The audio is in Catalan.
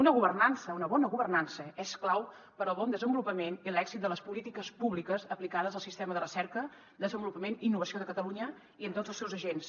una governança una bona governança és clau per al bon desen volupament i l’èxit de les polítiques públiques aplicades al sistema de recerca des envolupament i innovació de catalunya i entre tots els seus agents